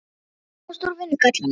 Ég þarf að komast úr vinnugallanum.